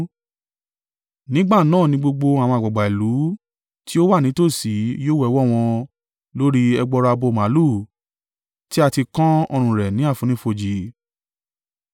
Nígbà náà ni gbogbo àwọn àgbàgbà ìlú tí ó wà nítòsí yóò wẹ ọwọ́ wọn lórí ẹgbọrọ abo màlúù tí a ti kan ọrùn rẹ̀ ní àfonífojì,